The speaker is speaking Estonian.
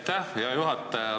Aitäh, hea juhataja!